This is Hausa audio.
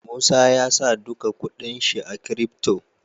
Musa yasa duka kuɗin shi a crypto